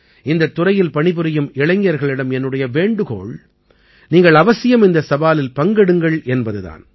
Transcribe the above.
இந்தத் துறையில் பணிபுரியும் இளைஞர்களிடம் என்னுடைய வேண்டுகோள் நீங்கள் அவசியம் இந்த சவாலில் பங்கெடுங்கள் என்பது தான்